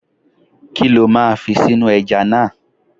Kí lo máa fi sínú ẹja náà?